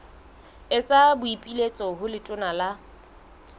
etsa boipiletso ho letona la